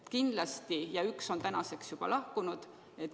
Üks neist on tänaseks juba lahkunud.